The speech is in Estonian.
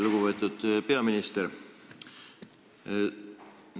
Lugupeetud peaminister!